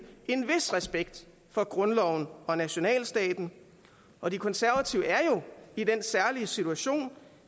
en vis respekt for grundloven og nationalstaten og de konservative er jo i den særlige situation